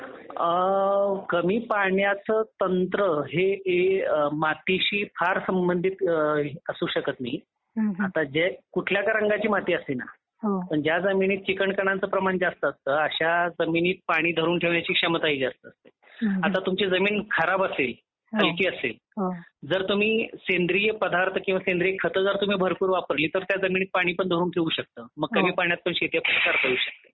आ कमी पाण्याची पाण्याचा तंत्र हे हे मातीशी फार संबंधित असू शकत नाही. आता जे कुठल्या का रंगाची माती असे ना. पण ज्या जमिनीत चिकन कणांचे प्रमाण जास्त असतं त्या जमिनीत पाणी धरून ठेवणे पाणी धरून ठेवण्याची क्षमता ही जास्त असते. आता तुमची जमीन खराब असेल वाळकी असेल जर तुम्ही सेंद्रिय पदार्थ किंवा सेंद्रिय खत जर भरपूर वापरले तर त्या जमिनीत पण पाणी धरून ठेवू शकतं. मग कमी पाण्यात पण शेती आपल्याला करता येऊ शकतं .